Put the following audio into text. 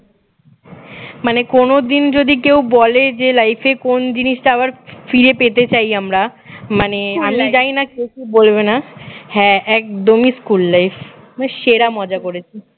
মানে কোনদিন যদি কেউ বলে যে life এ কোন জিনিসটা আবার ফিরে পেতে চাই আমরা মানে আমি জানিনা কে কি বলবেনা হ্যাঁ একদমই স্কুল life মানে সেরা মজা করেছি